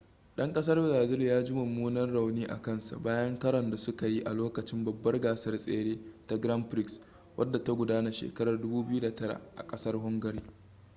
'dan kasar brazil ya ji mummunan rauni a kansa bayan karon da suka yi a lokacin babbar gasar tsere ta grand prix wadda ta gudana shekarar 2009 a kasar hungary